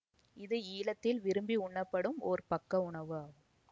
இது ஈழத்தில் விரும்பி உண்ணப்படும் ஒர் பக்க உணவு ஆகும்